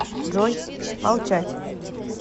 джой молчать